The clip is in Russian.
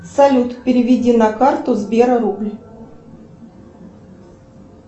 салют переведи на карту сбера рубль